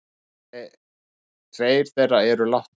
Tveir þeirra eru látnir.